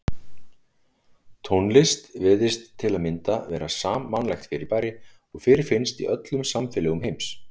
Tónlist virðist til að mynda vera sammannlegt fyrirbæri og fyrirfinnst í öllum samfélögum heims.